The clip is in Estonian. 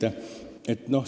Aitäh!